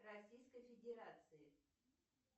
российской федерации